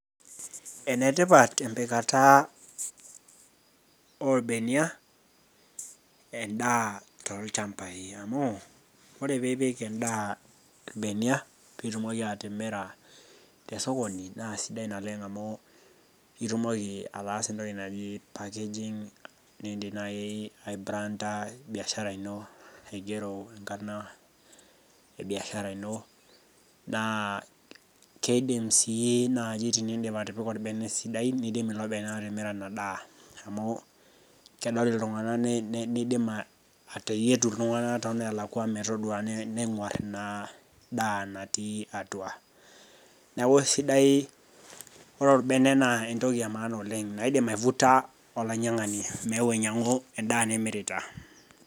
Enetipat empikata oolbenia endaa toolchambai, amu, ore pee ipik endaa ilbenia, piitumoki atimira te sokoni naa siidai naleng' amu itumoki ataasa entoki naji packaging, nii niindim naaji aibranda biashara ino aigero enkarna e biashara ino, naa keidim sii naaji atipika olbene sidai naa eidim ilo bene atimira ina daa amu keidim iltung'ana atodua neidim ateyietu iltung'ana toonnalakwa metadua neng'war ina daa natii atua. Neaku ore olbene naa entoki e maana oleng', eidim aivuta olainyang'ani meeu ainyang'u endaa nimirita.